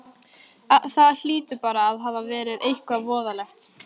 Það hlýtur bara að hafa verið eitthvað voðalegt.